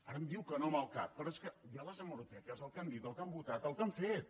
ara em diu que no amb el cap però hi ha les hemeroteques el que han dit el que han votat el que han fet